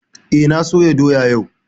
Eh, na soya doya yau